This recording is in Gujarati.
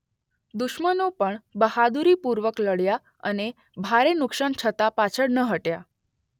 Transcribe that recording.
દુશ્મનો પણ બહાદુરીપૂર્વક લડ્યા અને ભારે નુક્શાન છતાં પાછળ ન હટ્યા.